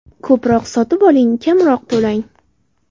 Ko‘proq sotib oling, kamroq to‘lang!